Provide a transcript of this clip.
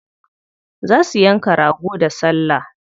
Za su yanka rago da salla.